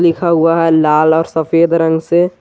लिखा हुआ है लाल और सफेद रंग से।